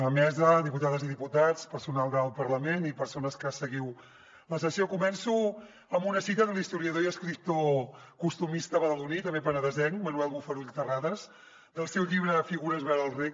mesa diputades i diputats personal del parlament i persones que seguiu la sessió començo amb una cita de l’historiador i escriptor costumista badaloní i també penedesenc manuel bofarull terrades del seu llibre figures vora el rec